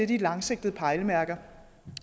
de langsigtede pejlemærker